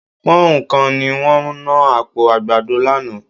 Pọ́nhùn kan ni wọ́n ná àpò àgbàdo lánàá